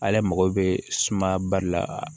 Ale mago bɛ suma ba de la